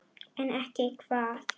En ekki hvað?